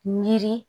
Miiri